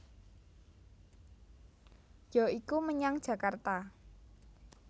Ya iku menyang Jakarta